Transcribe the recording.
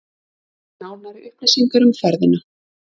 Nánari upplýsingar um ferðina